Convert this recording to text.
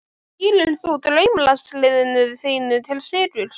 Stýrir þú draumaliðinu þínu til sigurs?